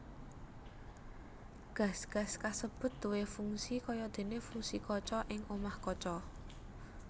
Gas gas kasebut duwé fungsi kayadéné fungsi kaca ing omah kaca